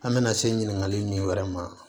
An bɛna se ɲiningali nin wɛrɛ ma